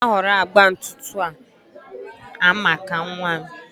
onye na-ahọrọ agba ntutu a maka nwa m?